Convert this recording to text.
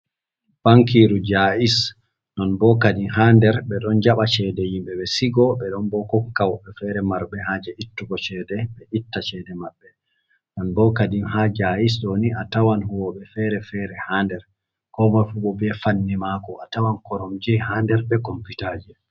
Bankiiru Jaiz, non boo kadin ha nder ɓe ɗon jaɓa ceede yimɓe, ɓe sigo. Ɓe ɗon bo kokka woɓɓe feere marɓe haaje ittugo ceede, ɓe itta ceede maɓbe. Non boo kadin ha Jaiz ɗoni tawan woodi huuwooɓe feere-feere ha nder koo moi fu bo bee fannu maako, a tawan koromje ha nder bee komputaaje.